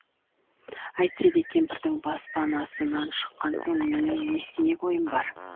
әйтсе де кемпірдің баспанасынан шыққан соң менің не істемек ойым бар